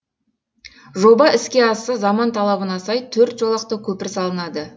жоба іске асса заман талабына сай төрт жолақты көпір салынады